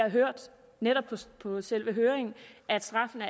hørt på selve høringen at straffene